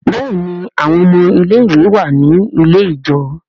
Béèni àwọn ọmọ ilé ìwé wá ní ilẹ̀ ijọ.